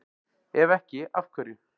Ef ekki, af hverju?